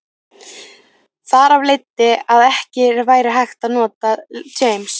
Þar af leiddi að ekki væri hægt að nota James